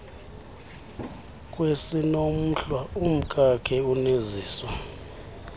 kwesiinomhlwa umkakhe uneziswa